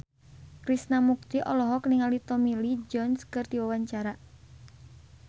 Krishna Mukti olohok ningali Tommy Lee Jones keur diwawancara